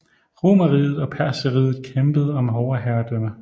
Romerriget og Perserriget kæmpede om overherredømme